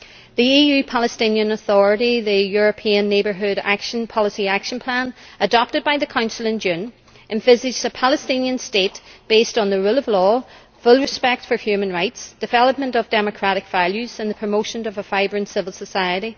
The EU Palestinian Authority's European Neighbourhood Policy Action Plan, adopted by the Council in June, envisages a Palestinian state based on the rule of law, full respect for human rights, development of democratic values and the promotion of a vibrant civil society.